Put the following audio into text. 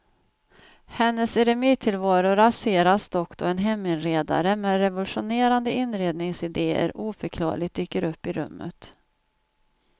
Hennes eremittillvaro raseras dock då en heminredare med revolutionerande inredningsidéer oförklarligt dyker upp i rummet.